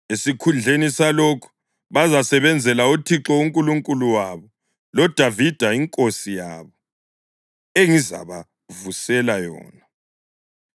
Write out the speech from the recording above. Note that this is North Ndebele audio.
Esikhundleni salokho, bazasebenzela uThixo uNkulunkulu wabo, loDavida inkosi yabo, engizabavusela yona.